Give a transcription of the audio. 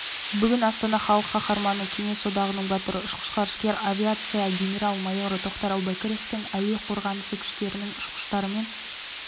бүгін астанада халық қаһарманы кеңес одағының батыры ұшқыш-ғарышкер авиация генерал-майоры тоқтар әубәкіровтың әуе қорғанысы күштерінің ұшқыштарымен